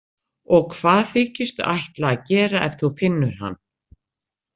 Og hvað þykistu ætla að gera ef þú finnur hann?